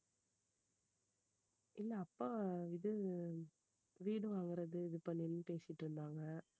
இல்ல அப்பா இது வீடு வாங்குறது இது பண்ணனும்ன்னு பேசிட்டு இருந்தாங்க.